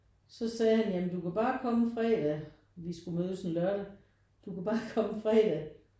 Så sagde han jamen du kan bare komme fredag vi skulle mødes en lørdag du kan bare komme fredag